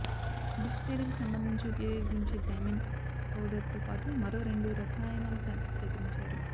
bits తయారీకి సంబంధించి ఉపయోగించే డైమండ్ పౌడర్తో పాటు మరో రెండు రసాయనాల శాంపిల్స్ సేకరించారు